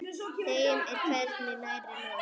Þeim er hvergi nærri lokið.